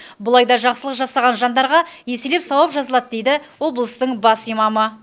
бұл айда жақсылық жасаған жандарға еселеп сауап жазылады дейді облыстың бас имамы